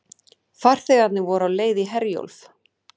Farþegarnir voru á leið í Herjólf